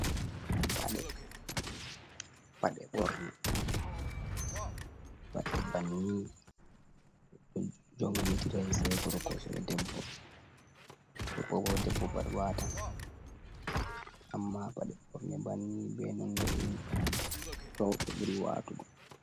Paɗe. paɗe borne banni jongetirai sei goroko sai ɗebbo. Gorko ko ɗebbo pat watan. Amma paɗe borne banni be non le’ein rebo be buri watugo.